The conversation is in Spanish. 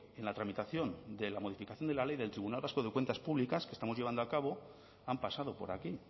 en la tramitación de la modificación de la ley del tribunal vasco de cuentas públicas que estamos llevando a cabo han pasado por aquí